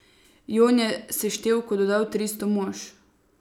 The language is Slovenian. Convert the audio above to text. Jon je seštevku dodal tristo mož.